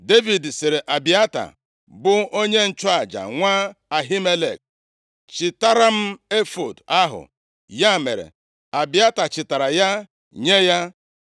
Devid sịrị Abịata, bụ onye nchụaja, nwa Ahimelek, “Chịtara m efọọd ahụ.” Ya mere, Abịata chịtara ya nye ya